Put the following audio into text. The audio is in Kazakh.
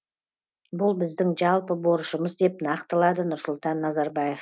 бұл біздің жалпы борышымыз деп нақтылады нұрсұлтан назарбаев